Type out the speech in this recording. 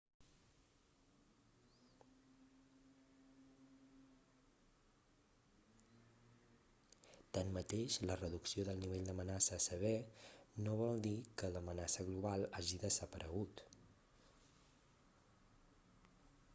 tanmateix la reducció del nivell d'amenaça a sever no vol dir que l'amenaça global hagi desaparegut